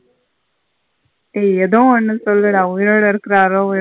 ஏய் எதோ ஒன்னு சொல்லுட உய்ரோட இருக்குரரோ உயி.